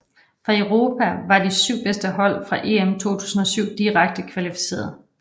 Fra Europa var de syv bedste hold fra EM 2007 direkte kvalificerede